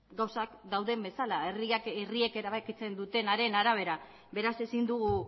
gauzak dauden bezala herriek erabakitzen dutenaren arabera beraz ezin dugu